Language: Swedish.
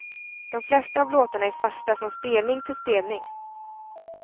De flesta av låtarna är fasta från spelning till spelning.